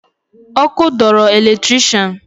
Ọkụ dọọrọ eletrikshan